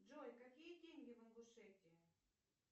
джой какие деньги в ингушетии